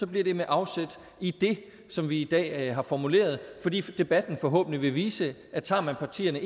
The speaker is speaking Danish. bliver det med afsæt i det som vi i dag har formuleret fordi debatten forhåbentlig vil vise at tager man partierne